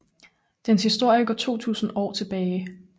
Dens historie går 2000 år tilbage